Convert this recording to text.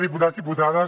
diputats diputades